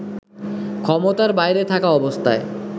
ক্ষমতার বাইরে থাকা অবস্থায়